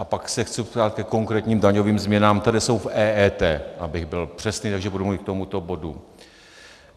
A pak se chci ptát ke konkrétním daňovým změnám, které jsou v EET, abych byl přesný, takže budu mluvit k tomuto bodu.